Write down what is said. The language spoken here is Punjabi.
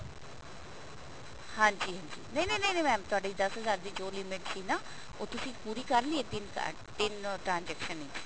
ਹਾਂਜੀ ਹਾਂਜੀ ਨਹੀਂ ਨਹੀਂ ਨਹੀਂ mam ਤੁਹਾਡੇ ਦਸ ਹਜ਼ਾਰ ਦੀ ਜੋ limit ਸੀ ਨਾ ਉਹ ਤੁਸੀਂ ਪੂਰੀ ਕਰ ਲਈ ਹੈ ਤਿੰਨ card ਤਿੰਨੋ transaction ਵਿੱਚ